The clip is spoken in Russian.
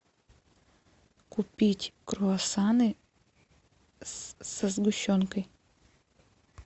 купить круассаны со сгущенкой